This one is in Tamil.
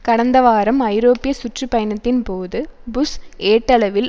கடந்த வாரம் ஐரோப்பிய சுற்று பயணத்தின்போது புஷ் ஏட்டளவில்